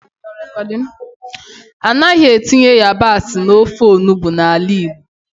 Anaghị etinye yabasị n'ofe onugbu n'ala Igbo.